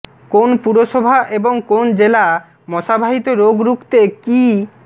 কোন পুরসভা এবং কোন জেলা মশাবাহিত রোগ রুখতে কী